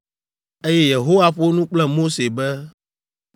Eye Yehowa ƒo nu kple Mose be,